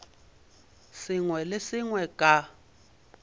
sengwe le se sengwe ka